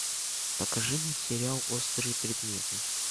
покажи мне сериал острые предметы